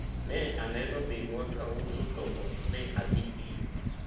ne aneno minwa ka uso to ok ne adhi ire